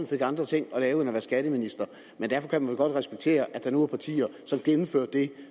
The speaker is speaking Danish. fik andre ting at lave end at være skatteminister men derfor kan man vel godt respektere at der nu er partier som gennemfører det